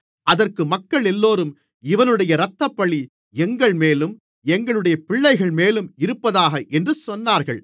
அதற்கு மக்களெல்லோரும் இவனுடைய இரத்தப்பழி எங்கள்மேலும் எங்களுடைய பிள்ளைகள்மேலும் இருப்பதாக என்று சொன்னார்கள்